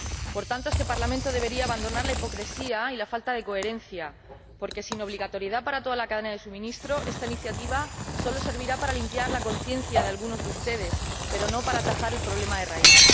Por tanto, este Parlamento debería abandonar la hipocresía y la falta de coherencia, porque, sin obligatoriedad para toda la cadena de suministro, esta iniciativa solo servirá para limpiar la conciencia de algunos de ustedes, pero no para atajar el problema de raíz.